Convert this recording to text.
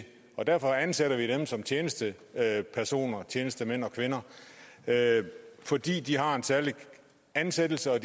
og derfor ansætter vi dem som tjenestemænd tjenestemænd og kvinder fordi de har en særlig ansættelse og